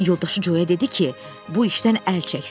Yoldaşı Co-ya dedi ki, bu işdən əl çəksin.